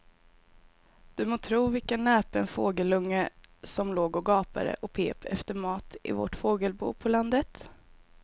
Du må tro vilken näpen fågelunge som låg och gapade och pep efter mat i vårt fågelbo på landet.